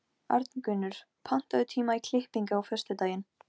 Já, en hvernig má það vera?